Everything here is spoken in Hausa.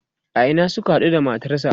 a Ina Suka haɗu da matarsa?